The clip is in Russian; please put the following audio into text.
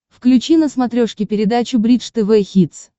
включи на смотрешке передачу бридж тв хитс